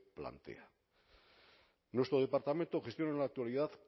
plantea nuestro departamento gestiona en la actualidad